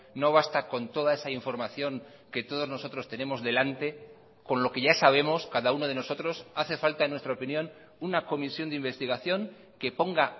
no basta con toda esa información que todos nosotros tenemos delante con lo que ya sabemos cada uno de nosotros hace falta en nuestra opinión una comisión de investigación que ponga